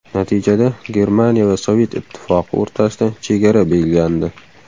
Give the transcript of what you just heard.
Natijada Germaniya va Sovet Ittifoqi o‘rtasida chegara belgilandi.